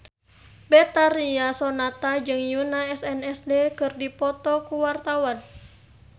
Betharia Sonata jeung Yoona SNSD keur dipoto ku wartawan